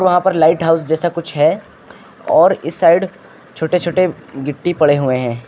वहां पर lighthouse जैसा कुछ है और इस साइड छोटे छोटे गिट्टी पड़े हुए हैं।